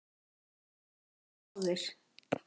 Þeir létust báðir